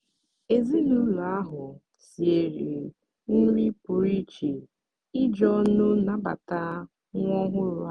ezinụlọ ahụ siere nri pụrụ iche iji ọṅụ nabata nwa ọhụrụ ha.